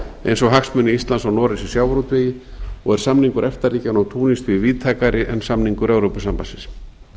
eins og hagsmuni íslands og noregs í sjávarútvegi og er samningur efta ríkjanna og túnis því víðtækari en samningur evrópusambandsins